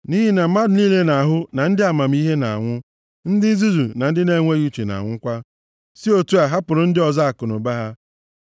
Nʼihi na mmadụ niile na-ahụ na ndị amamihe na-anwụ, ndị nzuzu na ndị na-enweghị uche na-anwụkwa, si otu a hapụrụ ndị ọzọ akụnụba ha.